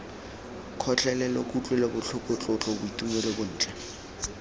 kgotlelelo kutlwelobotlhoko tlotlo boitumelo bontle